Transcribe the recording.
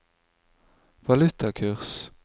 valutakurs